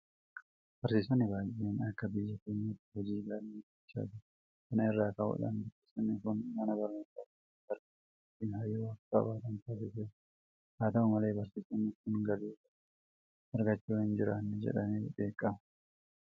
Barsiisonni baay'een akka biyya keenyaatti hojii gaarii hojjechaa jiru. Kana irraa ka'uudhaan barsiisonni kun mana barnootaa keessatti barattoota wajjin hariiroo akka qabaatan taasiseera. Haata'u malee barsiisonni kun galii gaarii argachaa hin jiran jedhamee qeeqama.